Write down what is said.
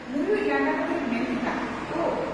ᱢᱩᱞᱩᱪ ᱞᱟᱸᱫᱟ ᱠᱟᱛᱮᱭ ᱢᱮᱱ ᱠᱮᱫᱼᱟ "ᱳ!